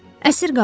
Əsir qadın.